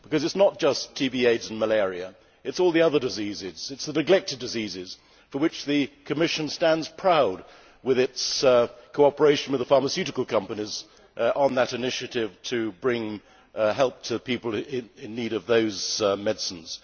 It is not just TB, AIDS and malaria, but all the other diseases. It is the neglected diseases, for which the Commission stands proud with its cooperation with the pharmaceutical companies on that initiative to bring help to people in need of those medicines.